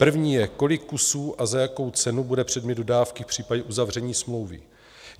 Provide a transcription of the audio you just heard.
První je: Kolik kusů a za jakou cenu bude předmět dodávky v případě uzavření smlouvy?